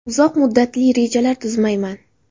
Uzoq muddatli rejalar tuzmayman.